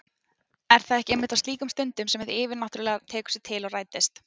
Er það ekki einmitt á slíkum stundum sem hið yfirnáttúrlega tekur sig til og rætist?